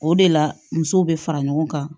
O de la musow be fara ɲɔgɔn kan